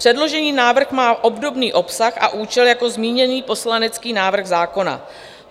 Předložený návrh má obdobný obsah a účel jako zmíněný poslanecký návrh zákona.